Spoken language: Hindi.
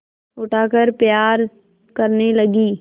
उठाकर प्यार करने लगी